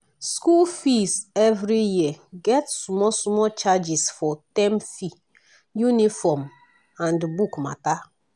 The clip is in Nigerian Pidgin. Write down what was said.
school fee every year get small small charges for term fee uniform and book matter.